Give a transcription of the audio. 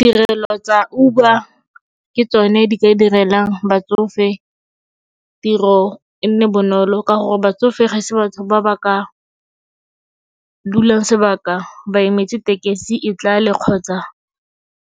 Tirelo tsa Uber ke tsone di ka direlang batsofe tiro e nne bonolo ka gore batsofe ga se batho ba ba ka dulang sebaka ba emetse tekesi e tlale kgotsa